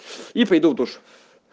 и пойду душ